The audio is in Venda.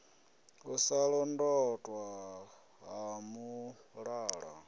u sa londotwa ha mulala